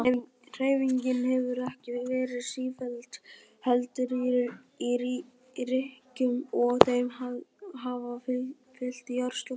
Hreyfingin hefur ekki verið sífelld heldur í rykkjum og þeim hafa fylgt jarðskjálftar.